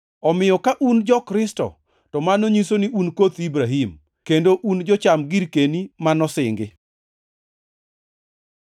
Omiyo ka un jo-Kristo, to mano nyiso ni un koth Ibrahim, kendo un jocham girkeni ma nosingi.